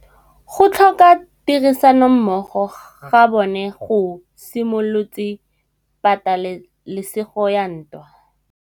Go tlhoka tirsanommogo ga bone go simolotse patêlêsêgô ya ntwa.